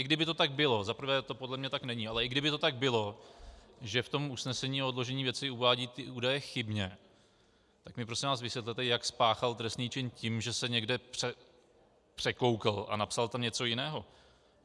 I kdyby to tak bylo, zaprvé to podle mě tak není, ale i kdyby to tak bylo, že v tom usnesení o odložení věci uvádí ty údaje chybně, tak mi prosím vás vysvětlete, jak spáchal trestný čin tím, že se někde překoukl a napsal tam něco jiného?